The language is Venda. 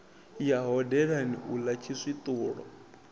ya hodelani u ḽa tshiswiṱulo